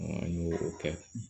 An y'o o kɛ